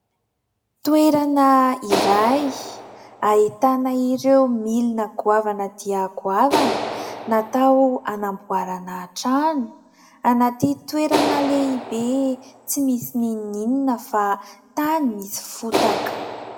Toerana iray ahitana ireo milina goavana dia goavana natao hanamboarana trano anaty toerana lehibe tsy misy n'inona n'inona fa tany misy fotaka.